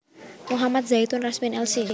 Muhammad Zaitun Rasmin Lc